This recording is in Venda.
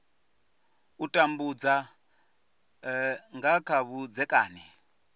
u tambudza nga kha vhudzekani